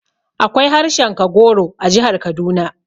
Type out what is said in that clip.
Akwai harshen Kagoro a jihar Kaduna